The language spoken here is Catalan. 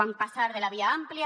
vam passar de la via àmplia